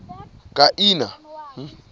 kiana